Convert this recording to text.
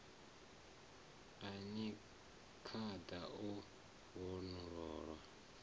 a ni khada o vhofholowa